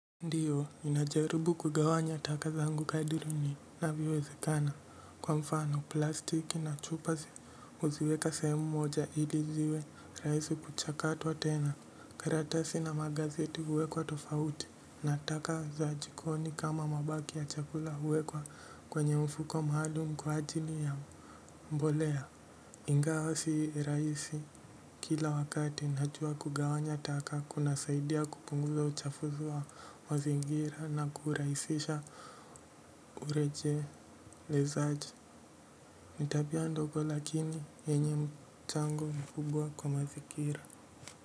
Ndiyo, ninajaribu kugawanya taka zangu kadri inavyo wezekana. Kwa mfano, plastiki na chupa huziweka sehemu moja ili ziwe rahisi kuchakatwa tena. Karatasi na magazeti huwekwa tofauti. Na taka za jikoni kama mabaki ya chakula huwekwa kwenye mfuko mahali kwa ajili ya mbolea. Ingawa si rahisi kila wakati najua kugawanya taka kuna saidia kupunguza uchafu wa mazingira na kurahisisha urejelezaji ni tabia ndogo lakini yenye mchango mkubwa kwa mazingira.